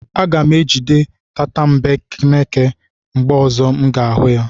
Aga m ejide tatambeneke mgbe ọzọ m ga-ahụ otu.